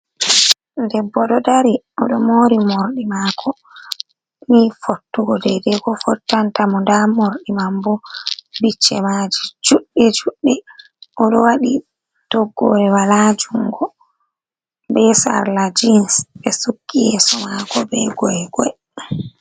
Debbo ɗo dari oɗo mori morɗi mako ni fottugo dai dai ko fottan tamo nda mordi man bo bicce maji juɗɗe juɗɗe oɗo waɗi toggore wala jungo be sarla jins, ɓe sukki yeso mako be goygoe.